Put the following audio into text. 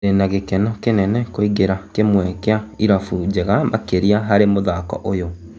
"Ndĩna gĩkeno kĩnene kũingĩra kĩmwe kĩa irabu njega makĩria harĩ mũthako ũyũ.